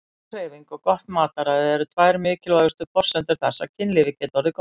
Næg hreyfing og gott mataræði eru tvær mikilvægustu forsendur þess að kynlífið geti orðið gott.